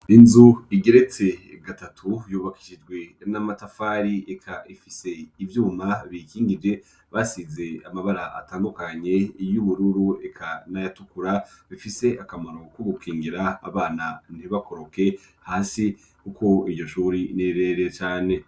Inzu igeretse gatatu yubakishijwe n'amatafari eka ifise ivyuma bikingije basize amabara atandukanye y'ubururu eka nayatukura bifise akamaro ku gukingira abana ntibakoroke hasi kuko iryo shuri nirerire cane.